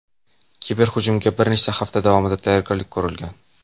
Kiberhujumga bir necha hafta davomida tayyorgarlik ko‘rilgan.